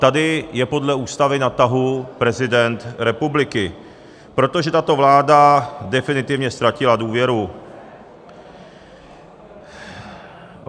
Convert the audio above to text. Tady je podle Ústavy na tahu prezident republiky, protože tato vláda definitivně ztratila důvěru.